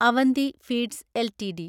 Avanti feeds LTD